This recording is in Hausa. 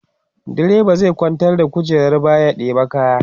driba zai kwantar da kujerar baya ya ɗeba kaya